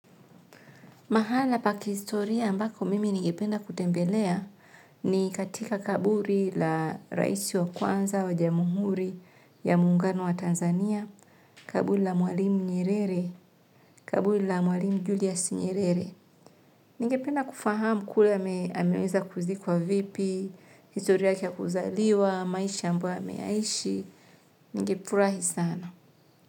Mahala pa kihistoria ambako mimi ningependa kutembelea ni katika kaburi la rais wa kwanza wa jamuhuri ya mungano wa Tanzania, kaburi la mwalimu Nyerere, kaburi la mwalimu Julius Nyerere. Ningependa kufahamu kule ameweza kuzikwa vipi, historia yake ya kuzaliwa, maisha ambayo ameyaishi, ningefurahi sana.